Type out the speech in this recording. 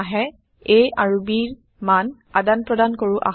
a আৰু bৰ মান আদান প্ৰদান কৰো আহক